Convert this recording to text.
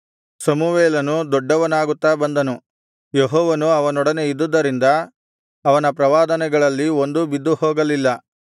ಸಮುವೇಲನು ದೊಡ್ಡವನಾಗುತ್ತಾ ಬಂದನು ಯೆಹೋವನು ಅವನೊಡನೆ ಇದ್ದುದ್ದರಿಂದ ಅವನ ಪ್ರವಾದನೆಗಳಲ್ಲಿ ಒಂದೂ ಬಿದ್ದುಹೋಗಲಿಲ್ಲ